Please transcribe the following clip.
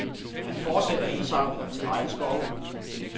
Han fortsætter indsamlingerne til regnskove.